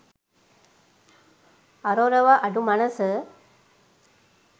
අරොරව අඩු මනස